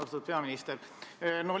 Austatud peaminister!